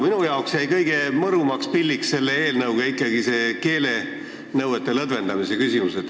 Minu meelest jäi kõige mõrumaks pilliks selles eelnõus ikkagi see keelenõuete lõdvendamise küsimus.